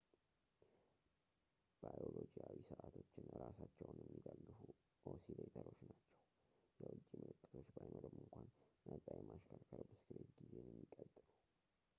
ባዮሎጂያዊ ሰዓቶች እራሳቸውን የሚደግፉ ኦሲሌተሮች ናቸው ፣ የውጭ ምልክቶች ባይኖሩም እንኳ ነፃ የማሽከርከር ብስክሌት ጊዜን የሚቀጥሉ